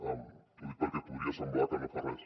ho dic perquè podria semblar que no fa res